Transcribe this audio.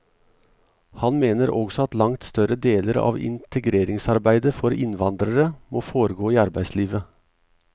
Han mener også at langt større deler av integreringsarbeidet for innvandrere må foregå i arbeidslivet.